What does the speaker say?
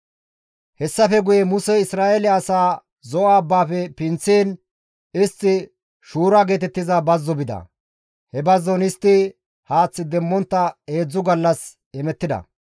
Hessafe guye Musey Isra7eele asaa Zo7o abbaafe pinththiin istti Shuura geetettiza bazzo bida. He bazzon istti haath demmontta heedzdzu gallas hemettida.